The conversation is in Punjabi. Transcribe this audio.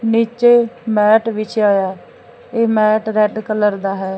ਨੀਚੇ ਮੈਟ ਵਿੱਛਿਆ ਹੋਇਆ ਹੈ ਇਹ ਮੈਟ ਰੈੱਡ ਕਲਰ ਦਾ ਹੈ।